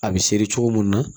A bɛ seri cogo min na